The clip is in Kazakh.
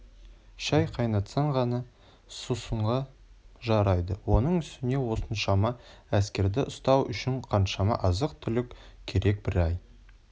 шай қайнатсаң ғана сусынға жарайды оның үстіне осыншама әскерді ұстау үшін қаншама азық-түлік керек бір ай